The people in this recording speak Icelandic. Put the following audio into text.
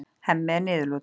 Hemmi er niðurlútur.